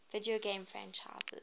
video game franchises